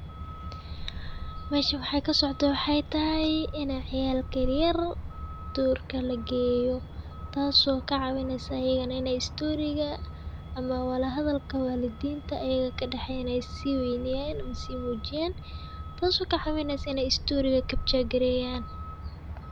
Mesha waxay ka socotaa, waxay tahay inay ciyaalka yer yer, duurka la geeyo. Taas oo ka cabbinaysay inay stuurigii ama walahadalka waalidiinta ayaga ka dhexeyna inay sii waynayaan simoojiyaan. Taasoo ka cabbinaysay in inay stuurigaa kap jageereeyaan.